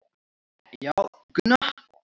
Já, Gunna.